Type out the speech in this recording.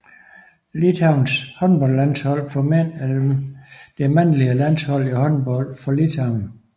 Litauens håndboldlandshold for mænd er det mandlige landshold i håndbold for Litauen